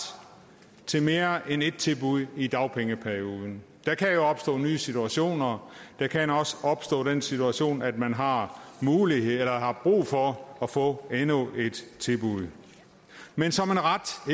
til mere end ét tilbud i dagpengeperioden der kan jo opstå nye situationer der kan også opstå den situation at man har mulighed for eller har brug for at få endnu et tilbud men som en ret